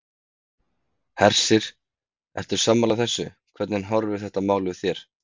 Hersir: Ertu sammála þessu, hvernig horfir þetta mál við þér?